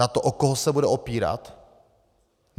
Na to, o koho se bude opírat?